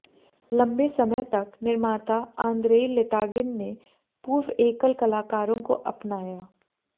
लंबे समय तक निर्माता आंद्रेई लितागिन ने पूर्व एकल कलाकारों को अपनाया